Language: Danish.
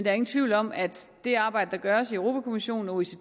er ingen tvivl om at det arbejde der gøres i europa kommissionen og